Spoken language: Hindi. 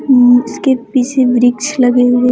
उम्म उसके पीछे वृक्ष लगे हुए--